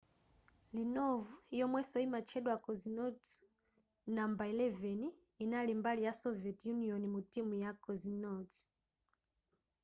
leonov yomwenso yimatchedwa cosmonauts no 11 yinali mbali ya soviet union mu timu ya cosmonauts